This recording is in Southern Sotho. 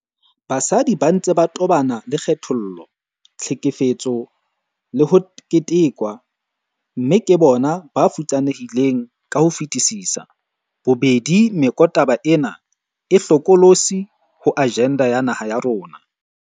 Basadi ba ntse ba tobana le kgethollo, tlhekefetso le ho ketekwa, mme ke bona ba futsanehileng ka ho fetisisa. Bobedi mekotaba ena e hlokolotsi ho ajenda ya naha ya rona.